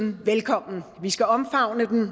velkommen vi skal omfavne den